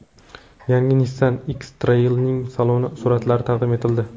Yangi Nissan X-Trail’ning saloni suratlari taqdim etildi .